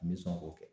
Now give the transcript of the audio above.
N bɛ sɔn k'o kɛ